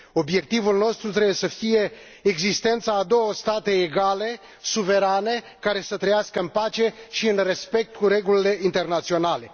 Obiectivul nostru trebuie să fie existența a două state egale, suverane, care să trăiască în pace și în respect cu regulile internaționale.